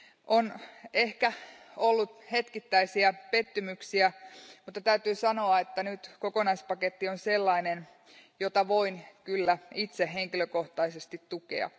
On ehkä ollut hetkittäisiä pettymyksiä, mutta täytyy sanoa, että nyt kokonaispaketti on sellainen, jota voin kyllä itse henkilökohtaisesti tukea.